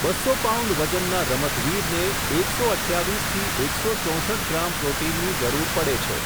બસ્સો પાઉન્ડ વજનના રમતવીરને, એકસો અઠ્યાવીસથી એકસો ચોંસઠ ગ્રામ પ્રોટીનની જરૂર પડે છે.